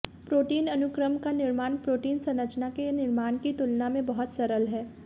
protein अनुक्रम का निर्माण प्रोटीन संरचना के निर्माण की तुलना में बहुत सरल है